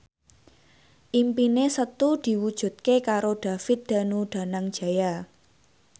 impine Setu diwujudke karo David Danu Danangjaya